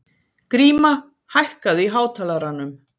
Gríma, hækkaðu í hátalaranum.